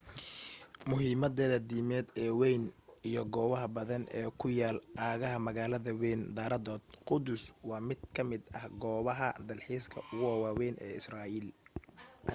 muhiimadeeda diimeed ee wayn iyo goobaha badan ee ku yaal aagga magaalada wayn daraadood quddus waa mid ka mida goobaha dalxiiska ugu waawayn israa'iil